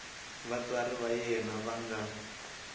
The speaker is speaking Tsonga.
vatswari va yena va nga